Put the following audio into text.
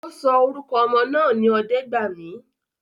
Ọ́ sọ orúkọ ọmọ náà ní Ọdẹ́gbàmí